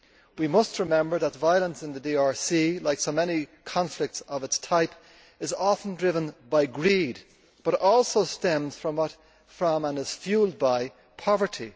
We must remember that the violence in the DRC, like so many conflicts of its type, is often driven by greed but also stems from and is fuelled by poverty.